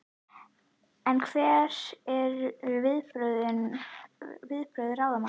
En hver eru viðbrögð ráðamanna?